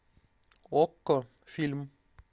окко фильм